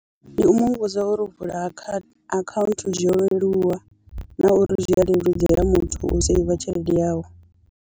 Ndi u mu vhudza uri u vula akha akhaunthu zwi yo leluwa na uri zwi a leludzela muthu u seiva tshelede yawe.